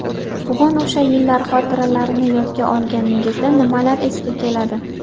Bugun o‘sha yillar xotiralarini yodga olganingizda nimalar esga keladi?